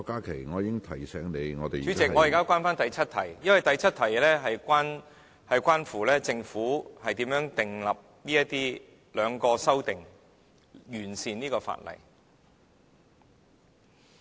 主席，我現在返回第7條，因為第7條是關乎政府如何訂立兩項修正案，以完善《條例草案》。